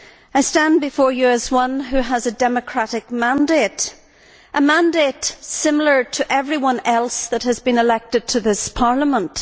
I stand before you as one who has a democratic mandate a mandate similar to that held by everyone else that has been elected to this Parliament.